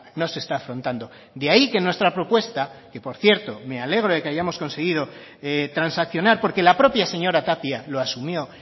no se está afrontando de ahí que nuestra propuesta que por cierto me alegro de que hayamos conseguir transaccionar porque la propia señora tapia lo asumió